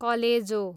कलेजो